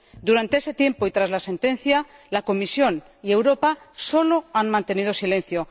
Durante ese tiempo y tras la sentencia, la Comisión y Europa solo han mantenido silencio.